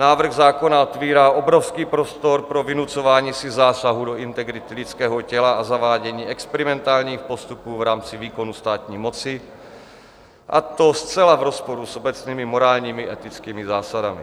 Návrh zákona otevírá obrovský prostor pro vynucování si zásahu do integrity lidského těla a zavádění experimentálních postupů v rámci výkonu státní moci, a to zcela v rozporu s obecnými morálními etickými zásadami.